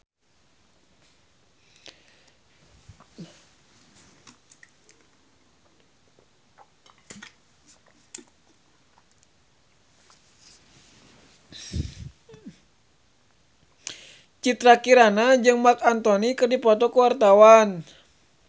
Citra Kirana jeung Marc Anthony keur dipoto ku wartawan